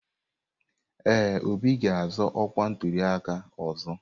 Ee, Obi ga-azọ ọkwa na ntuliaka ọzọ.